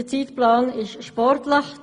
Der Zeitplan ist sportlich.